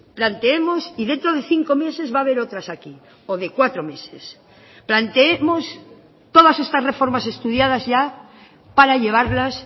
planteemos y dentro de cinco meses va a haber otras aquí o de cuatro meses planteemos todas estas reformas estudiadas ya para llevarlas